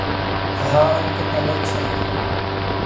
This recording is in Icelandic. Að hafa einhvern að leiksoppi